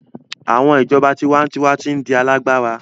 Awọn ijọba tiwantiwa ti n di alagbara